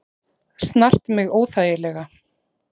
Snart mig óþægilega.